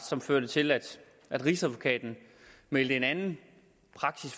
som førte til at rigsadvokaten meldte en anden